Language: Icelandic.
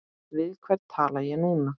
Við hvern tala ég núna?